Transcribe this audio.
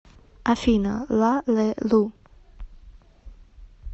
афина ла ле лу